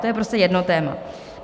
To je prostě jedno téma.